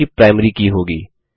जो कि प्राइमरी की होगी